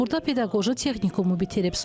Burda pedaqoji texnikumu bitirib.